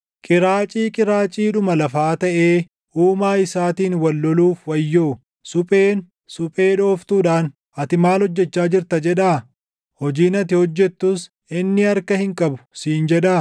“Qiraacii qiraaciidhuma lafaa taʼee Uumaa isaatiin wal loluuf wayyoo. Supheen, suphee dhooftuudhaan, ‘Ati maal hojjechaa jirta?’ jedhaa? Hojiin ati hojjettus, ‘Inni harka hin qabu’ siin jedhaa?